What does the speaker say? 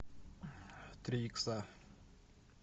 три икса